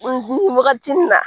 wagati in na